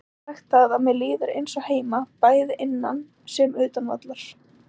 Ég get sagt það að mér líður eins og heima, bæði innan sem utan vallar.